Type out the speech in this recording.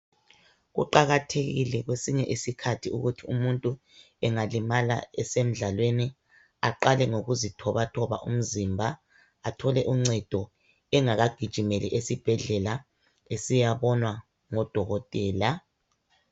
Kuqakathekile kwesinye isikhathi ukuthi umuntu engalimala esemdlalweni aqale ngokuzithobathoba umzimba athole uncedo engakajigimeli esibhedlela esiyabonwa ngodokotela.